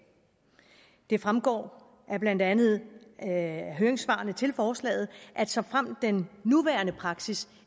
det fremgår blandt andet af høringssvarene til forslaget at såfremt den nuværende praksis